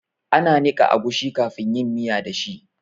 Ana niƙa agushi kafin yin miya da shi